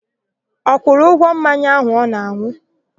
Ọ kwụrụ ụgwọ mmanya áhù ọ na-an̄ụ?